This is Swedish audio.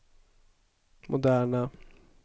moderna